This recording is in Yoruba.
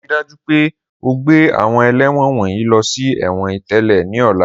Rii daju pe o gbe awọn ẹlẹ́wọ̀n wọnyi lọ si ẹ̀wọ̀n itẹle ni ọla!